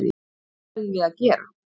Eitthvað verðum við að gera.